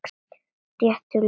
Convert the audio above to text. Réttu lögin.